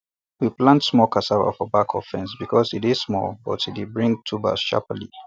we plant small cassava for back of fence because e dey small but e dey bring tuber sharply